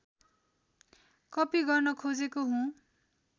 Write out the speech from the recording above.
copy गर्न खोजेको हुँ